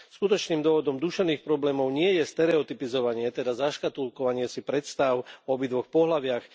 Skutočným dôvodom duševných problémov nie je stereotypizovanie, teda zaškatuľkovanie si predstáv o obidvoch pohlaviach.